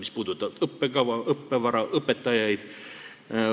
See puudutab õppekava, õppevara ja õpetajaid.